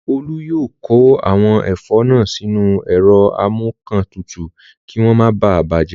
Olú yóò kó àwọn ẹ̀fọ́ náà sínú ẹ̀rọ amúǹkantutù kí wọ́n máa bàjẹ́